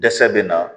Dɛsɛ bɛ na